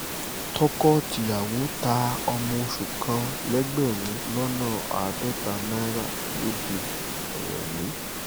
tọkọ-tìyàwó ta ọmọ oṣù kan lẹ́gbẹ̀rún lọ́nà àádọ́ta náírà lọ́dẹ-rèmi